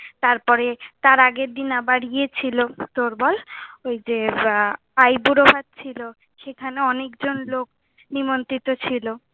তার পরে তার আগের দিন আবার ইয়ে ছিলো। তোর বল, ওই যে আইবুড়ো ভাত ছিলো, সেইখানে অনেক জন লোক নিমন্ত্রিত ছিলো।